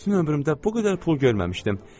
Bütün ömrümdə bu qədər pul görməmişdim.